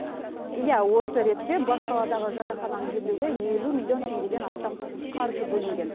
иә осы ретте бас қаладағы жатақхананы жөндеуге елу миллион теңгеден астам қаржы бөлінген